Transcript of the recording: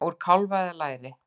Úr kálfa eða læri!